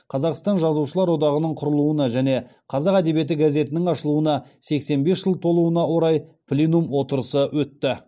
қазақстан жазушылар одағының құрылуына және қазақ әдебиеті газетінің ашылуына сексен бес жыл толуына орай пленум отырысы өтті